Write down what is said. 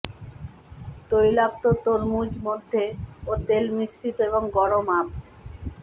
তৈলাক্ত তরমুজ মধ্যে ও তেল মিশ্রিত এবং গরম আপ